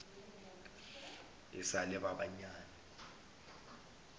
e sa le ba banyane